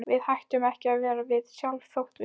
Við hættum ekki að vera við sjálf þótt við.